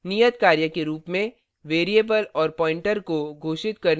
नियतकार्य के रूप में वेरिएबल और pointer प्वॉइंटर को